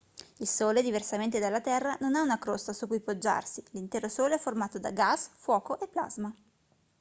il sole diversamente dalla terra non ha una crosta su cui poggiarsi l'intero sole è formato da gas fuoco e plasma